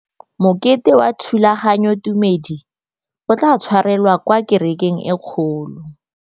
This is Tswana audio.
Mokete wa thulaganyôtumêdi o tla tshwarelwa kwa kerekeng e kgolo.